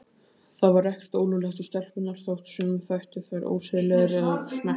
Það var ekkert ólöglegt við stelpurnar þótt sumum þættu þær ósiðlegar og smekklausar.